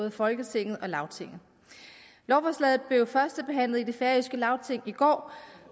i folketinget og lagtinget lovforslaget blev førstebehandlet i det færøske lagting i går